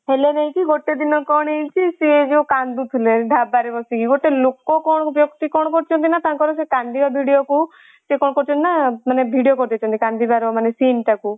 ହେଲେ ହଉଚି ଗୋଟେ ଦିନ କଣ ହେଇଚି ସେ ଯୋଉ କାନ୍ଦୁଥିଲେ ଢାବାରେ ବସିକି ଗୋଟେ ଲୋକ କ'ଣ ବ୍ୟକ୍ତି କ'ଣ କରିଛନ୍ତି ନା ତାଙ୍କର ଯୋଉ କନ୍ଦିବା video କୁ ସେ କ'ଣ କରିଛନ୍ତି ନା ମାନେ video କରିଦେଇଛନ୍ତି ମାନେ କାନ୍ଦିବାର ମାନେ scene ଟାକୁ।